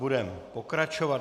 Budeme pokračovat.